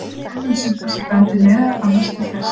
hegðun simpansa bendir meðal annars til þess